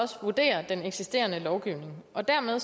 vurdere den eksisterende lovgivning dermed